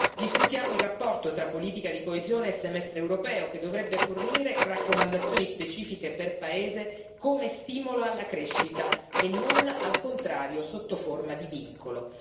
Discutiamo il rapporto tra politica di coesione e semestre europeo, che dovrebbe fornire raccomandazioni specifiche per paese come stimolo alla crescita e non, al contrario, sotto forma di vincolo.